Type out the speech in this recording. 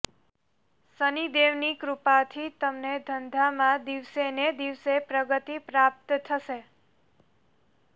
શનિદેવ ની કૃપા થી તમને ધંધા માં દિવસે ને દિવસે પ્રગતી પ્રાપ્ત થશે